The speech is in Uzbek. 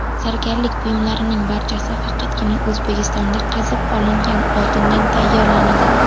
Zargarlik buyumlarining barchasi faqatgina O‘zbekistonda qazib olingan oltindan tayyorlanadi.